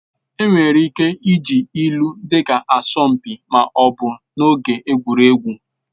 Enwere ike iji ilu dịka asọmpi ma ọ bụ n'oge egwuregwu